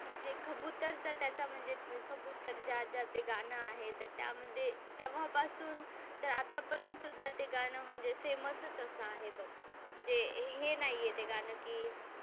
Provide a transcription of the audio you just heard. तर जे कबुतर चा त्याचा म्हणजे कबुतर जा जा ते गाणं आहे तर त्या मध्ये तेव्हापासून तर आता पर्यंत सुद्धा ते गाणं म्हणजे फेमस च असं आहे बघ म्हणजे हे नाही ते गाणं कि,